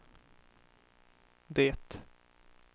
det